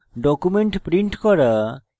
document print করা